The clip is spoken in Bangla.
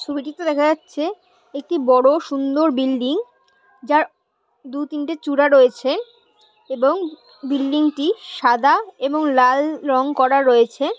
ছবিটিতে দেখা যাছে একটি বড়ো সুন্দর বিল্ডিং যার দু তিনটা চূড়া রয়েছে এবং বিল্ডিংটি সাদা এবং লাল রঙ করা রয়েছে।